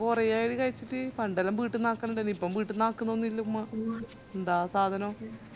ഞാൻ കൊറേ ആയി ഇത് കയിച്ചിറ്റ് പണ്ടെല്ലാം ബീട്ടിന്ന് ആക്കലിൻണ്ടെനു ഇപ്പൊ ബീട്ടിന്ന് ആക്കലൊന്നുല്ല ഉമ്മ ന്താ സാധനം